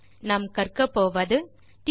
tutorial லின் இறுதியில் செய்ய முடிவது